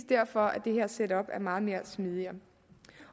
derfor det her setup er meget smidigere